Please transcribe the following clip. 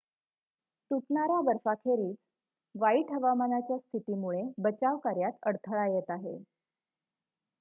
तुटणाऱ्या बर्फाखेरीज वाईट हवामानाच्या स्थितीमुळे बचाव कार्यात अडथळा येत आहे